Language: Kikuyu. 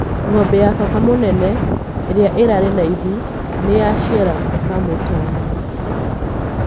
Ng'ombe ya baba mũnene ĩria ĩrarĩ na ihu nĩ yaciara kamũtama.